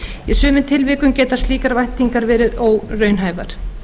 í sumum tilvikum geta slíkar væntingar veri óraunhæfar